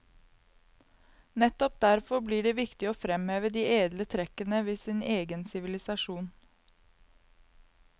Nettopp derfor blir det viktig å fremheve de edle trekkene ved sin egen sivilisasjon.